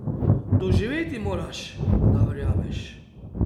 Doživeti moraš, da verjameš.